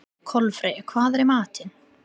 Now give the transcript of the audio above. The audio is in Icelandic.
Kolfreyja, hvað er í matinn?